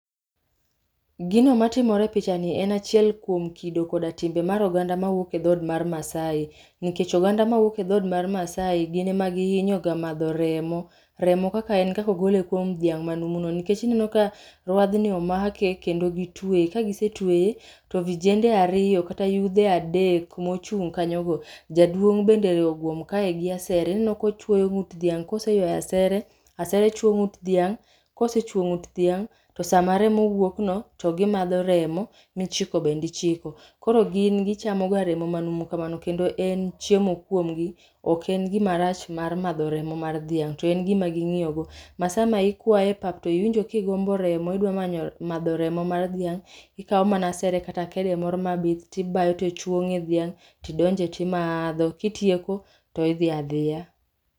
Gino matimore e picha ni en achiel kuom kido koda timbe mar oganda ma wuok e dhod mar Masai. Nikech oganda ma wuok e dhod mar Masai gin ema gihinyo ga madho remo, remo kaka en kakogole kuom dhiang' ma numuno. Nikech ineno ka ruadh ni omake kendo gitweye, ka gisetweye, to vijende ariyo kata yudhe adek mochung' kanyo go. Jaduong' bende oguom kae gi asere, ineno kochwoyo ng'ut dhiang' koseywayo asere, asere chwo ng'ut dhiang'. Kosechwo ng'ut dhiang', to sama remo wuok no to gimadho remo, michiko bendichiko. Koro gimadho ga remo kamano, kendo en chiemokuom gi. Ok en gima rach mar madho remo mar dhiang', to en gima ging'iyo go. Ma sama ikwayo e pap to iwinjo kigombo remo idwa madho remo mar dhiang', ikawo mana asere kata kede moro mabith tibayo to chwo ng'e dhiang'. Tidonje timadho, kitieko to idhi adhiya.